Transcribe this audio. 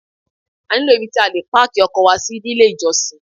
A nílò ibi tí a lè páàkì ọkọ̀ wa sí nílé ìjọsìn.